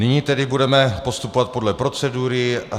Nyní tedy budeme postupovat podle procedury.